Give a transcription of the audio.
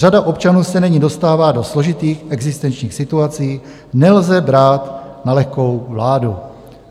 Řada občanů se nyní dostává do složitých existenčních situací, nelze brát na lehkou váhu."